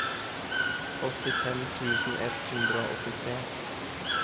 åttifem tusen ett hundre og åttitre